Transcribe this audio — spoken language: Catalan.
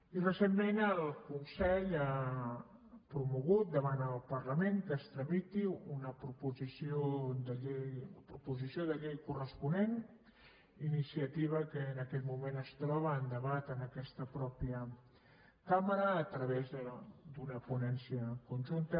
i recentment el consell ha promogut davant el parlament que se’n tramiti la proposició de llei corresponent iniciativa que en aquest moment es troba a debat en aquesta mateixa cambra a través d’una ponència conjunta